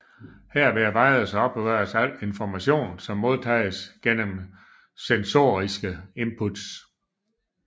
Her bearbejdes og opbevares al information som modtages gennem sensoriske inputs